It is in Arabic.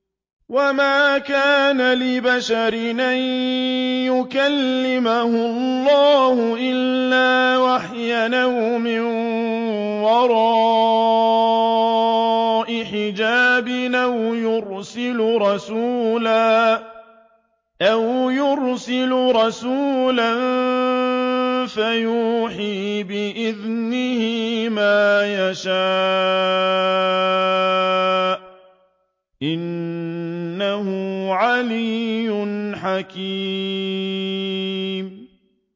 ۞ وَمَا كَانَ لِبَشَرٍ أَن يُكَلِّمَهُ اللَّهُ إِلَّا وَحْيًا أَوْ مِن وَرَاءِ حِجَابٍ أَوْ يُرْسِلَ رَسُولًا فَيُوحِيَ بِإِذْنِهِ مَا يَشَاءُ ۚ إِنَّهُ عَلِيٌّ حَكِيمٌ